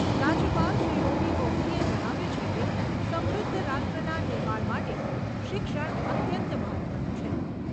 રાજ્યપાલ શ્રી ઓ.પી. કોહલીએ જણાવ્યું છે કે, સમૃદ્ધ રાષ્ટ્રના નિર્માણ માટે શિક્ષણ અત્યંત મહત્ત્વનું છે.